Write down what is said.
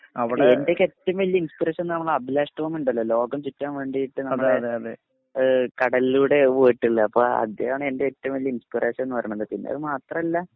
എന്റൊക്കെ ഏറ്റവും വലിയ ഇൻസ്പറേഷൻ എന്താണെന്നോ അഭിലാഷ് ടോമീണ്ടല്ലോ ലോകം ചുറ്റാൻ വേണ്ടീട്ട് നമ്മടെ ഏഹ് കടലിലൂടെ പോയിട്ടുള്ള അപ്പൊ അദ്ദേഹം ആണെന്റെ ഏറ്റവും വലിയ ഇൻസ്പറേഷൻ എന്നുപറയണത്. പിന്നതുമാത്രല്ല